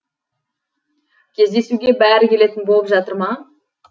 кездесуге бәрі келетін болып жатыр ма